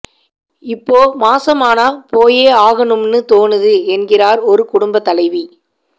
இப்போ மாசமானா போயே ஆகணும்னு தோணுது என்கிறார் ஒரு குடும்பத் தலைவி